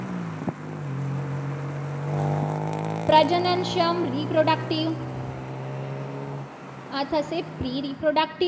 પ્રજનન સંઘ reproductive આ થશે. preproductive